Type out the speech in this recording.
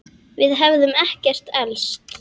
Við hefðum ekkert elst.